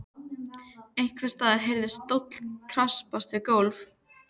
Einhvers staðar heyrðist stóll skrapast við gólf.